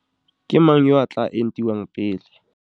Ke mang yo a tla entiwang pele?